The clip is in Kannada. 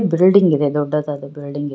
ಬಿಲ್ಡಿಂಗ್ ಇದೆ ದೊಡ್ಡದಾದ ಬಿಲ್ಡಿಂಗ್ ಇ --